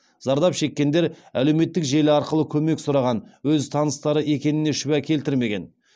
зардап шеккендер әлеуметтік желі арқылы көмек сұраған өз таныстары екеніне шүбә келтірмеген